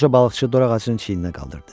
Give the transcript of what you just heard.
Qoca balıqçı dorağacını çiyninə qaldırdı.